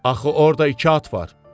Axı orda iki at var.